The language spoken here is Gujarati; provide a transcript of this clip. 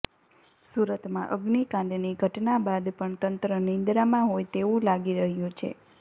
સુરતમાં અગ્નિકાંડની ઘટના બાદ પણ તંત્ર નિંદ્રામાં હોય તેવું લાગી રહ્યું છે